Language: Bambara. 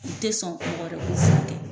U tɛ sɔn mɔgɔ wɛrɛ k'u furakɛ.